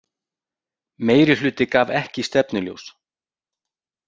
Meirihluti gaf ekki stefnuljós